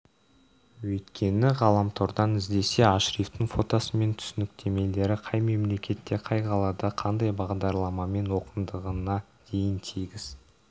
өйткені ғаламтордан іздесе ашрифтің фотосы мен түсініктемелері қай мемлекетте қай қалада қандай бағдарламамен оқығандығына дейін тегіс